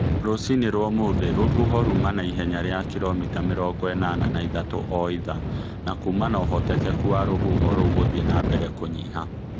Rũcinĩ wa ũmũthĩ, rũhuho ruma na ihenya rĩa kilomita mĩrongo ĩnana na ithatu o ithaa, na kuuma na ũhotekeku wa rũhuho rũu gũthiĩ na mbere kũnyiha.